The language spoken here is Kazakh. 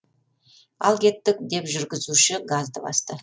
ал кеттік деп жүргізуші газды басты